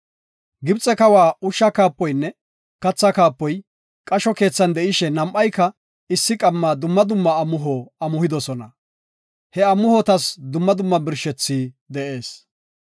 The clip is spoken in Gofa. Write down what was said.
Gibxe kawa ushsha kaapoynne katha kaapoy, qasho keethan de7ishe nam7ayka issi qamma dumma dumma amuho amuhidosona. He amuhotas dumma dumma birshethay de7ees.